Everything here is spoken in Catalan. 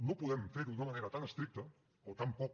no podem fer ho d’una manera tan estricta o tan poc